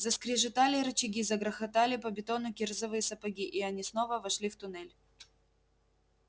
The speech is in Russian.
заскрежетали рычаги загрохотали по бетону кирзовые сапоги и они снова вошли в туннель